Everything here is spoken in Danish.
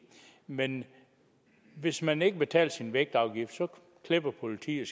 men hvis man ikke betaler sin vægtafgift klipper politiet